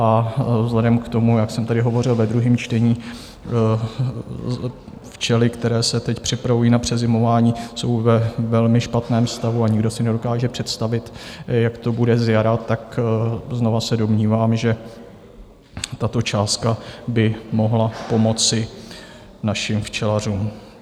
A vzhledem k tomu, jak jsem tady hovořil ve druhém čtení, včely, které se teď připravují na přezimování, jsou ve velmi špatném stavu a nikdo si nedokáže představit, jak to bude zjara, tak znovu se domnívám, že tato částka by mohla pomoci našim včelařům.